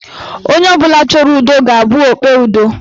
Onye ọbụla chọrọ ụdọ ga-abụ okpe ụdọ.